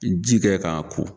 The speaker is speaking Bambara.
Ji kɛ k'a ko.